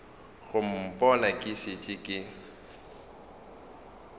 go mpona ke šetše ke